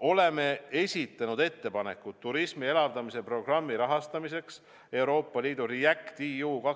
Oleme esitanud ettepanekud turismi elavdamise programmi rahastamiseks Euroopa Liidu REACT-EU 2021–2023